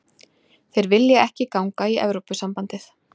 Þeir vilja ekki ganga í Evrópusambandið